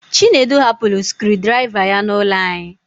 Chinedu hapụrụ scruu draiva ya n'ụlọ anyị